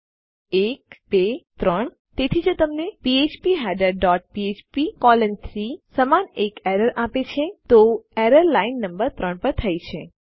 ૧ ૨ ૩ તેથી જો તે તમને ફીડર ડોટ ફ્ફ્પ કોલોન 3 સમાન એક એરર આપે તો એરર લાઈન નંબર ૩ પર થઇ છે